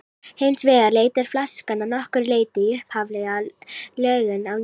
Hins vegar leitar flaskan að nokkru leyti í upphaflega lögun á ný.